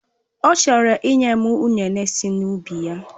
Ọ chọrọ ịnye m ụnene si n'ubi ya.